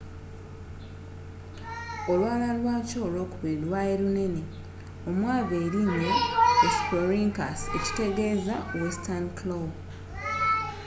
olwala lwakyo olwokubiri lwaali lunene omwava erinnya hesperonychus ekitegeeza western claw.